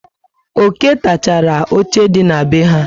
Oké takachara óche dị na be ha